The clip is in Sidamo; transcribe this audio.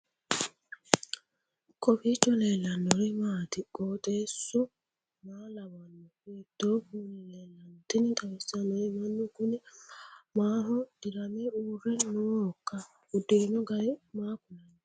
kowiicho leellannori maati ? qooxeessu maa lawaanno ? hiitoo kuuli leellanno ? tini xawissannori mannu kuni maaho dirame uurre noohoikka uddirino gari maa kulanno